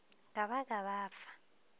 ka ba ka ba fa